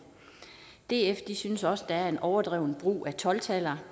df synes også der er en overdreven brug af tolv taller